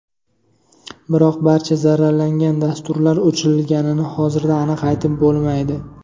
Biroq barcha zararlangan dasturlar o‘chirilganini hozirda aniq aytib bo‘lmaydi.